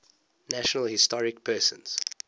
national historic persons